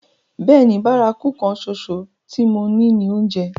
Bẹ́ẹ̀ni, bárakú kan ṣoṣo tí mo ní ni oúnjẹ.